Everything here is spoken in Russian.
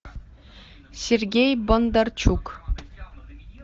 сергей бондарчук